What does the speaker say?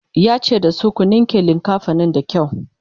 yace da su "ku ninke linkafanin da kyau!"